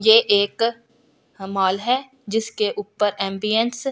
ये एक मॉल है जिसके ऊपर एंबिएंस --